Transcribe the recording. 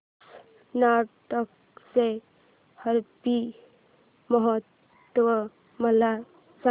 कर्नाटक चा हम्पी महोत्सव मला सांग